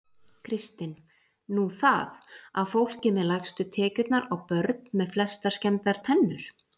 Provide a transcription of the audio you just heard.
Kristinn: Nú það. að fólkið með lægstu tekjurnar á börn með flestar skemmdar tennur?